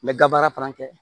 N bɛ ga baara fana kɛ